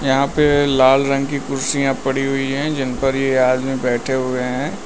यहां पे लाल रंग की कुर्सियां पड़ी हुई है जिन पर ये आदमी बैठे हुए हैं।